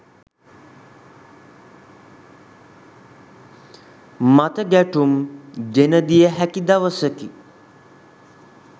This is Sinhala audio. මතගැටුම් ගෙන දිය හැකි දවසකි